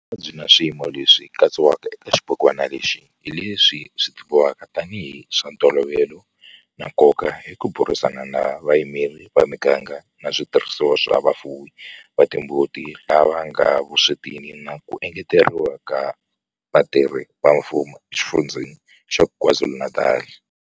Mavabyi na swiyimo leswi katsiwaka eka xibukwana lexi hi leswi tivivwaka tanihi hi swa ntolovelo na nkoka hi ku burisana na vayimeri va miganga na switirhisiwa swa vafuwi va timbuti lava nga le vuswetini na ku engeteriwa ka vatirhi va mfumo eXifundzheni xa KwaZulu-Natal.